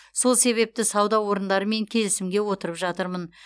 сол себепті сауда орындарымен келісімге отырып жатырмын